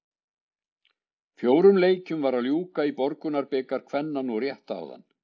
Fjórum leikjum var að ljúka í Borgunarbikar kvenna nú rétt áðan.